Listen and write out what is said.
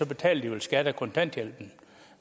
betaler de vel skat af kontanthjælpen